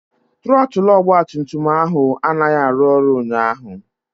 Trọtụl ọgbatumtum ahụ anaghị arụ ọrụ ụnyaahụ.